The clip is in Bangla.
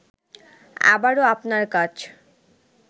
আবারও আপনার কাছ